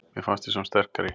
Mér fannst við samt sterkari